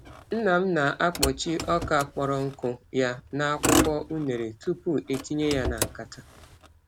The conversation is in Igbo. Nna m na-akpuchi ọka kpọrọ nkụ ya n’akwụkwọ unere tupu etinye ya na nkata.